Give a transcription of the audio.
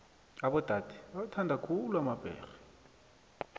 abodade bowathanda khulu emabhege